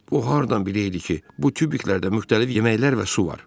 O hardan bilərdi ki, bu tubiklərdə müxtəlif yeməklər və su var.